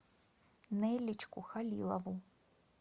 нелличку халилову